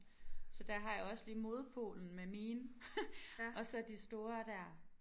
Så der har jeg også lige modpolen med mine og så de store der